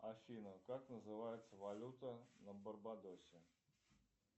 афина как называется валюта на барбадосе